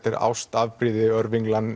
er ást